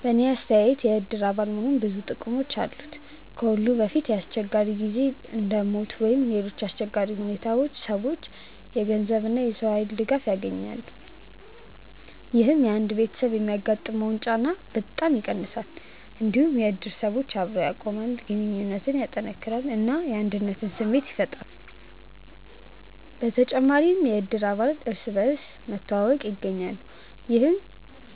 በእኔ አስተያየት የእድር አባል መሆን ብዙ ጥቅሞች አሉት። ከሁሉ በፊት በአስቸጋሪ ጊዜ እንደ ሞት ወይም ሌሎች አሰቸጋሪ ሁኔታዎች ሰዎች የገንዘብ እና የሰው ኃይል ድጋፍ ያገኛሉ። ይህ አንድ ቤተሰብ የሚያጋጥመውን ጫና በጣም ይቀንሳል። እንዲሁም እድር ሰዎችን አብሮ ያቆማል፣ ግንኙነትን ያጠናክራል እና የአንድነት ስሜት ያፈጥራል። በተጨማሪም እድር አባላት እርስ በርስ መተዋወቅ ያገኛሉ፣ ይህም